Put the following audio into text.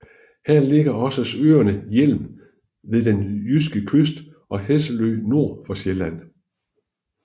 Her ligger også øerne Hjelm ved den jyske kyst og Hesselø nord for Sjælland